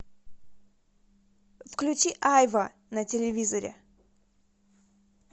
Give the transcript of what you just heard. включи айва на телевизоре